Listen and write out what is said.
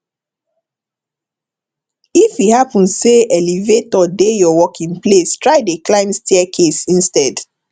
if e hapun say elevator dey yur working place try dey climb staircase instead